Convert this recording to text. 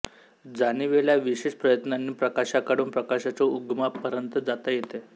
जाणिवेला विशेष प्रयत्नांनी प्रकाशाकडून प्रकाशाच्या उगमापर्यंत जाता येते